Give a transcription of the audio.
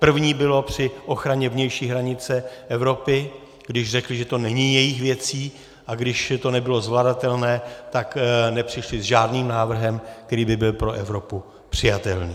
První bylo při ochraně vnější hranice Evropy, když řekli, že to není jejich věcí, a když to nebylo zvladatelné, tak nepřišli s žádným návrhem, který by byl pro Evropu přijatelný.